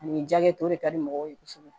Ani jakɛ tɔw de ka di mɔgɔw ye kosɛbɛ